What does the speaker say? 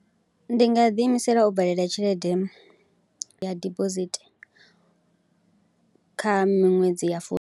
Ndi nga ḓiimisela u vadela tshelede ya dibosithi kha miṅwedzi ya fu.